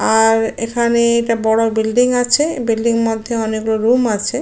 আর এখানে এটা বড় বিল্ডিং আছে বিল্ডিং এর মধ্যে অনেক গুলো রুম আছে।